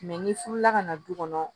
ni furula ka na du kɔnɔ